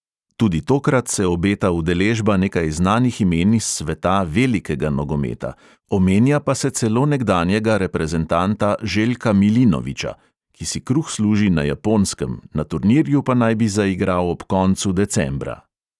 Tudi tokrat se obeta udeležba nekaj znanih imen iz sveta "velikega" nogometa, omenja pa se celo nekdanjega reprezentanta željka milinoviča, ki si kruh služi na japonskem, na turnirju pa naj bi zaigral ob koncu decembra.